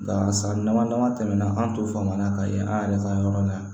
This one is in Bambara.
Nka san dama dama tɛmɛna an to faama na ka ye an yɛrɛ ka yɔrɔ la yan